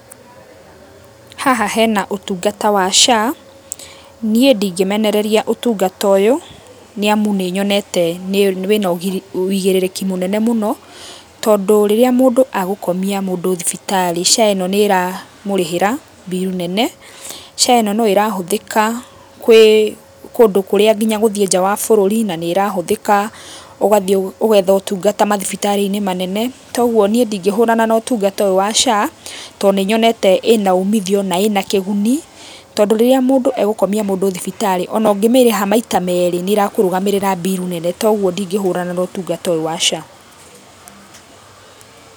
Haha hena ũtũngata wa SHA, nĩe ndĩngĩmenereria ũtũngata ũyũ, nĩamu nĩnyonete wĩna wũigĩrĩrĩki mũnene mũno, tondũ rĩrĩa mũndũ agũkomĩa mũndũ thibitarĩ, SHA ĩno nĩ ĩramũrĩhĩra bill nene, SHA ĩno no ĩrahũthĩka kwĩ kũndũ kũrĩa nginya gũthiĩ nja wa bũrũri, na nĩ ĩrahũthĩka ũgathiĩ ũgetha ũtungata mathibitarĩ-inĩ manene. Togũo niĩ ndĩngĩhũrana na ũtũngata ũyũ wa SHA, tondũ nĩ nyonete ĩna ũmĩthio na ĩna kĩguni. Tondũ rĩrĩa mũndũ egũkomia mũndũ thibitarĩ, ona ũngĩmĩrĩha maĩta merĩ nĩ ĩrakũrũgamĩrĩra bill nene. Toguo ndĩngĩhũrana na ũtungata ũyũ wa SHA.